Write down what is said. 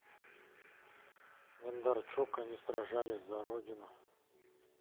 бондарчук они сражались за родину